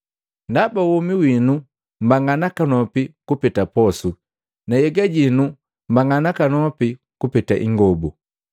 Ndaba womi winu mbanga nakanopi kupeta posu, na nhyega yinu mbanga nakanopi kupeta ingobu.